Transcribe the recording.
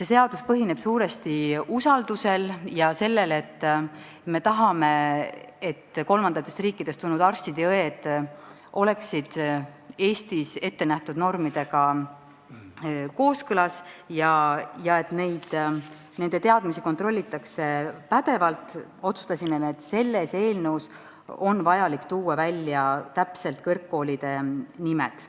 see seadus põhineb suuresti usaldusel ja sellel, et me tahame, et kolmandatest riikidest tulnud arstide ja õdede kvalifikatsioon oleks Eestis ettenähtud normidega kooskõlas ja et nende teadmisi kontrollitaks pädevalt, otsustasime, et selles eelnõus on vaja tuua kõrgkoolide nimetused täpselt välja.